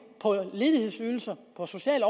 på ledighedsydelse og social